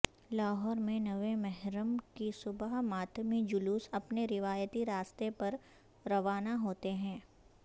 لاہور میں نویں محرم کی صبح ماتمی جلوس اپنے روایتی راستے پر روانہ ہوتے ہیں